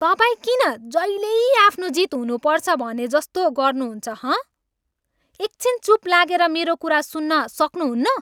तपाईँ किन जहिल्यै आफ्नै जित हुनुपर्छ भनेजस्तो गर्नुहुन्छ, हँ? एक छिन चुप लागेर मेरो कुरा सुन्न सक्नुहुन्न?